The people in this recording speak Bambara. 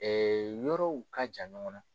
yɔrɔw ka jan ɲɔgɔn na.